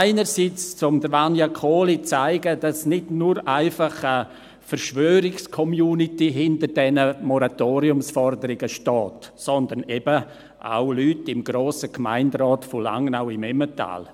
– Einerseits, um Vania Kohli zu zeigen, dass nicht nur einfach eine Verschwörungscommunity hinter diesen Moratoriumsforderungen steht, sondern eben auch Personen im Grossen Gemeinderat von Langnau im Emmental.